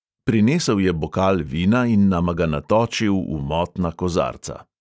Prinesel je bokal vina in nama ga natočil v motna kozarca.